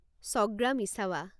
ছগ্ৰা মিছাৱা